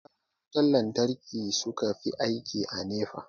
masu gyaran wutan lantarki suka fi aiki a NEPA